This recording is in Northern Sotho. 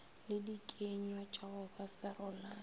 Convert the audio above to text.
le dikenywatša go ba serolane